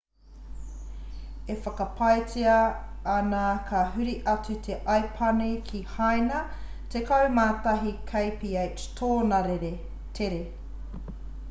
e whakapaetia ana ka huri atu te aipani ki haina tekau mā tahi kph tōna tere